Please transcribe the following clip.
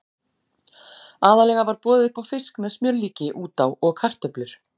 Aðallega var boðið upp á fisk með smjörlíki út á og kartöflur.